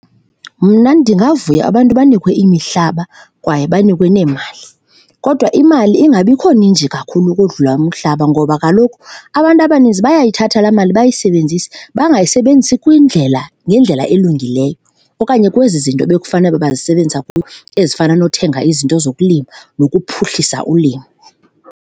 Mna ndingavuya abantu banikwe imihlaba kwaye banikwe neemali kodwa imali ingabikho ninzi kakhulu ukodlula umhlaba ngoba kaloku abantu abaninzi bayayithatha laa mali bayisebenzise, bangayisebenzisi kwindlela, ngendlela elungileyo okanye kwezi zinto ebekufanele uba bayisebenzisa kuyo ezifana nokuthenga izinto zokulima nokuphuhlisa ulimo.